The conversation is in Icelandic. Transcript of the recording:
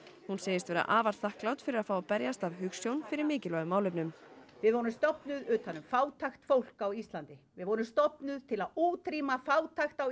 hún sagðist vera afar þakklát fyrir að fá að berjast af hugsjón fyrir mikilvægum málefnum við vorum stofnuð utan um fátækt fólk á Íslandi við vorum stofnuð til að útrýma fátækt á